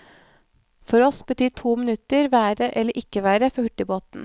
For oss betyr to minutter være eller ikke være for hurtigbåten.